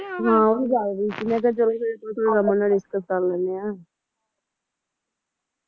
ਹਾਂ ਉਹ ਵੀ ਜਗਦੀ ਸੀ ਮੈਂ ਕਿਹਾ ਚਲੋ ਨਾਲ discuss ਕਰ ਲੈਣੇ ਆ